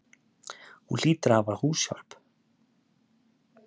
Hún hlýtur að hafa húshjálp.